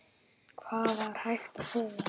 Hvað var hægt að segja?